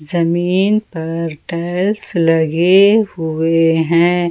जमीन पर टाइल्स लगे हुए हैं।